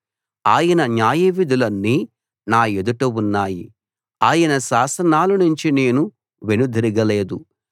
ఆయన న్యాయవిధులన్నీ నా ఎదుట ఉన్నాయి ఆయన శాసనాలనుంచి నేను వెనుదిరగలేదు